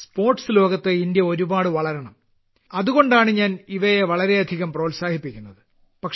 sports ലോകത്ത് India ഒരുപാട് വളരണം അതുകൊണ്ടാണ് ഞാൻ ഇവയെ വളരെയധികം പ്രോത്സാഹിപ്പിക്കുന്നത്